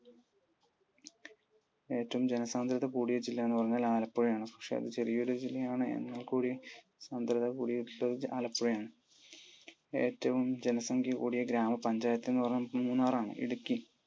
ഏറ്റവും ജനസാന്ദ്രത കൂടിയ ജില്ല എന്ന് പറഞ്ഞാൽ ആലപ്പുഴയാണ്. പക്ഷെ അത് ചെറിയൊരു ജില്ലയാണ് എന്നാൽ കൂടിയും സാന്ദ്രത കൂടിയ ജില്ലാ ആലപ്പുഴയാണ്. ഏറ്റവും ജനസംഖ്യ കൂടിയ ഗ്രാമ പഞ്ചായത്ത് എന്ന് പറഞ്ഞാൽ മൂന്നാർ ആണ്. ഇടുക്കി.